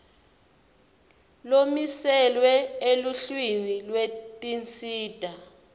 lomiselwe eluhlwini lwetinsita